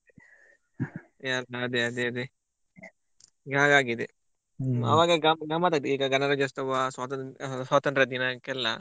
ಅದೆ ಅದೆ ಅದೆ ಈಗ ಹಾಗಾಗಿದೆ ಆವಾಗ ಗಮ್ಮತಾಗ್ತಾ ಇತ್ತು ಈಗ ಗಣರಾಜ್ಯೋತ್ಸವ ಸ್ವಾತಂತ್ರ ದಿನ ಸ್ವಾತಂತ್ರ ದಿನಕೆಲ್ಲ.